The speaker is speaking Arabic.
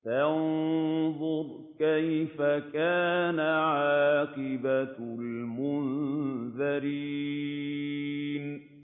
فَانظُرْ كَيْفَ كَانَ عَاقِبَةُ الْمُنذَرِينَ